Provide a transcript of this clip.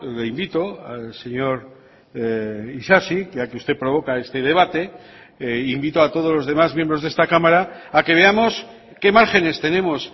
le invito al señor isasi ya que usted provoca este debate invito a todos los demás miembros de esta cámara a que veamos qué márgenes tenemos